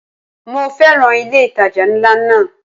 Mo féràn ilé ìtajà ńlá náà.